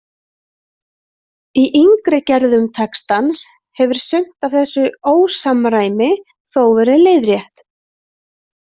Í yngri gerðum textans hefur sumt af þessu „ósamræmi“ þó verið leiðrétt.